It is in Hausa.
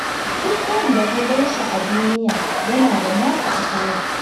Duk wanda ka gan shi a duniya yana da nasa asalin.